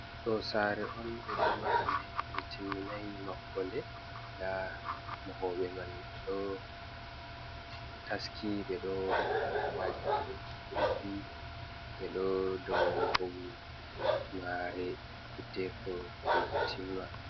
Ɗo saare on ɓe ɗo maha nde, ɓe timminay mahugo nde. Ndaa mahoɓe man ɓe ɗo taski, ɓe ɗo maha maadi ɗunɗi, be ɗo dow maare hiddeeko nde timma.